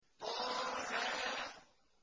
طه